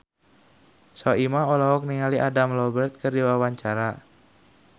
Soimah olohok ningali Adam Lambert keur diwawancara